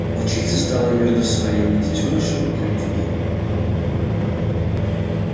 волчица стала между своими детёнышем и людьми